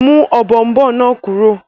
Mú ọ̀bọ̀ọ̀nbọọ̀n náà kúrò!